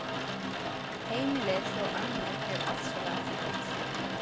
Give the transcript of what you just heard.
Heimilið hjá ömmu er ofsalega fínt.